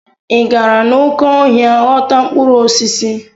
Ị gara n'oké ọhịa ghọta mkpụrụ osisi?